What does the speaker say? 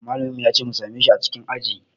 Malamin mu ya ce mu same shi a cikin aji